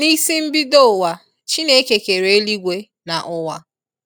N'isi mbido ụwa, Chineke kere eluigwe na ụwa.